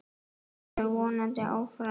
Svo verður vonandi áfram.